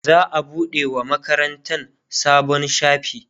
za'a buɗe wa makarantan sabon shafi